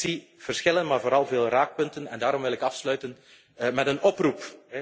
verliezen. Maar ik zie wel verschillen, maar vooral veel raakpunten en daarom wil ik afsluiten met